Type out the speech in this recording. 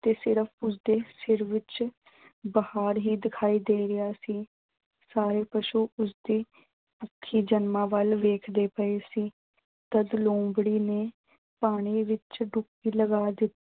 ਤੇ ਸਿਰਫ਼ ਉਸਦਾ ਸਿਰ ਹੀ ਬਾਹਰ ਦਿਖਾਈ ਦੇ ਰਿਹਾ ਸੀ। ਸਾਰੇ ਪਸ਼ੂ ਉਸਦੀ ਵੱਲ ਵੇਖਦੇ ਪਏ ਸੀ। ਤਦ ਲੂੰਬੜੀ ਨੇ ਪਾਣੀ ਵਿੱਚ ਡੁਬਕੀ ਲਗਾ ਦਿੱਤੀ।